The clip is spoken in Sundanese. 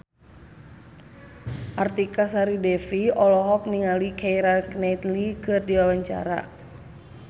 Artika Sari Devi olohok ningali Keira Knightley keur diwawancara